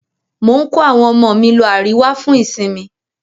Mò ń kó àwọn ọmọ mi lọ Àríwá fún ìsinmi